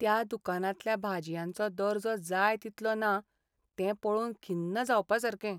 त्या दुकानांतल्या भाजयांचो दर्जो जाय तितलो ना तें पळोवन खिन्न जावपासारकें.